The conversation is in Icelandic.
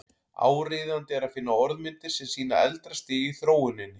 Áríðandi er að finna orðmyndir sem sýna eldra stig í þróuninni.